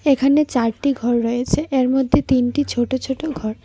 এখানে চারটি ঘর রয়েছে এর মধ্যে তিনটি ছোট ছোট ঘর।